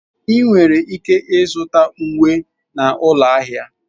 Ị nwere ike ịzụta uwe na ụlọ ahịa.